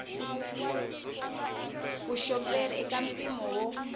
vuxoperi i ka mpimo wo